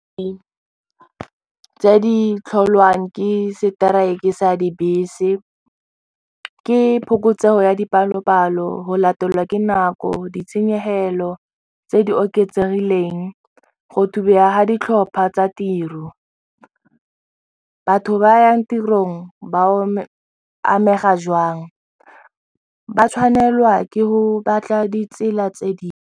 Tse di tlholwang ke seteraeke sa dibese, ke phokotsego ya dipalopalo, go latelwa ke nako ditshenyegelo tse di oketsegileng, go thubega ga ditlhopha tsa tiro batho ba yang tirong ba amega jwang ba tshwanelwa ke go batla ditsela tse di.